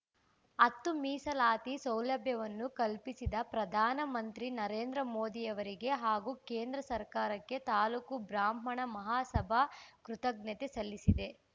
ಹತ್ತು ಮೀಸಲಾತಿ ಸೌಲಭ್ಯವನ್ನು ಕಲ್ಪಿಸಿದ ಪ್ರಧಾನ ಮಂತ್ರಿ ನರೇಂದ್ರ ಮೋದಿಯವರಿಗೆ ಹಾಗೂ ಕೇಂದ್ರ ಸರ್ಕಾರಕ್ಕೆ ತಾಲೂಕು ಬ್ರಾಹ್ಮಣ ಮಹಾಸಭಾ ಕೃತಜ್ಞತೆ ಸಲ್ಲಿಸಿದೆ